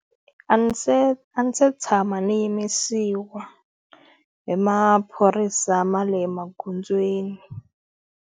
A ndzi se a ndzi se tshama ni yimisiwa hi maphorisa ma le magondzweni.